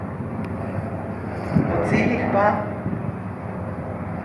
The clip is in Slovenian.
O ciljih pa ...